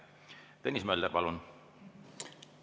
Tõnis Mölder, palun!